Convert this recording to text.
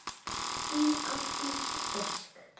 Þín, Ásdís Ósk.